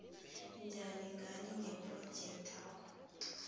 njani ngani ngephrojekthakho